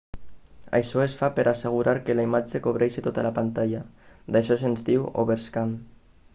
això es fa per a assegurar que la imatge cobreixi tota la pantalla d'això se'n diu overscan